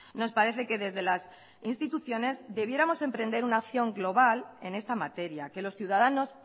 nos parece que desde las instituciones debiéramos emprender una acción global en esta materia que los ciudadanos